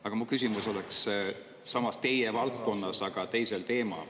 Aga mu küsimus oleks samas teie valdkonnas, aga teisel teemal.